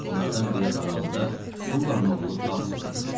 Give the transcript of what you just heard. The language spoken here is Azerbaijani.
Onlardan biraz aralıda Sullanın oğlu Favs oturmuşdu.